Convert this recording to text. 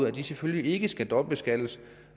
at de selvfølgelig ikke skal dobbeltbeskattes